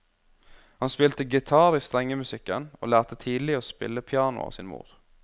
Han spilte gitar i strengemusikken, og lærte tidlig å spille piano av sin mor.